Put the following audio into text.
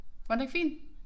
Var den ikke fin?